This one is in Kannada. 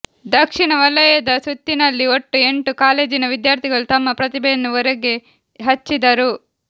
ದಕ್ಷಿಣ ವಲಯದ ಸುತ್ತಿನಲ್ಲಿ ಒಟ್ಟು ಎಂಟು ಕಾಲೇಜಿನ ವಿದ್ಯಾರ್ಥಿಗಳು ತಮ್ಮ ಪ್ರತಿಭೆಯನ್ನು ಒರೆಗೆಹಚ್ಚಿದರು